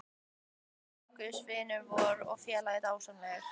Bakkus vinur vor og félagi er dásamlegur.